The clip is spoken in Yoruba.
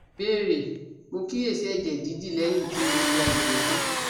Ìbéèrè: Mo kíyèsí ẹ̀jẹ̀ didi leyin ti mo ya igbe tan